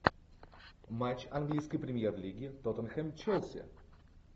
матч английской премьер лиги тоттенхэм челси